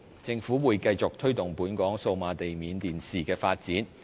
政府會繼續推動本港數碼地面電視的發展。